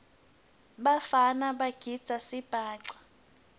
bafana bagidza sibhaca